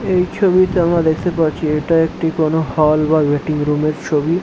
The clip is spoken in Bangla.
এই ছবিতে আমরা দেখতে পাচ্ছি এটা একটি কোন হল বা ওয়েটিং রুম এর ছবি।